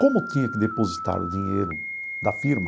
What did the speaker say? Como tinha que depositar o dinheiro da firma.